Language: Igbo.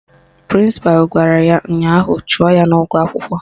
Prịnsịpalụ gwara ya ụnyaahụ "Chụọ ya n'ụgwọ akwụkwọ!